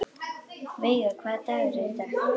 Veiga, hvaða dagur er í dag?